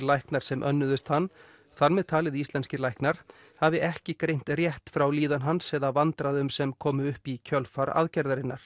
læknar sem önnuðust hann þar með talið íslenskir læknar hafi ekki greint rétt frá líðan hans eða vandræðum sem komu upp í kjölfar aðgerðarinnar